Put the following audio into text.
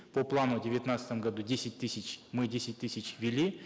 по плану в девятнадцатом году десять тысяч мы десять тысяч ввели